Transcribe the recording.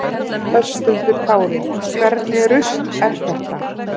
Höskuldur Kári: Hvernig rusl er þetta?